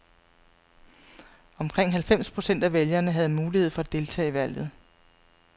Omkring halvfems procent af vælgerne havde mulighed for at deltage i valget.